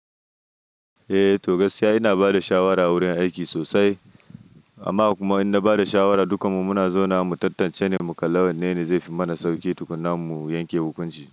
Eh to gaskiya ina bada shawara a wurin aiki sosai amma kuma in na bada shawara duk mu muna zauna mu tattance ne mu kalla wanne ne zai fi mana sauƙi tukunin mu yanke hukunci.